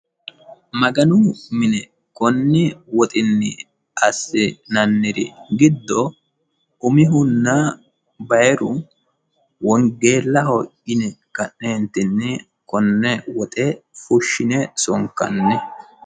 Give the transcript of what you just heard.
Maganu mine konni woxinni assi'nanniri giddo umihunna bayiru wongeellaho yine ka'neentinni konne woxe fushshine sonkanni.